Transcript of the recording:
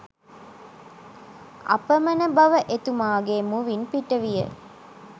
අපමණ බව එතුමාගේ මුවින් පිට විය